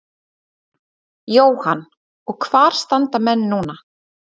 Jóhann: Og hvar standa menn núna?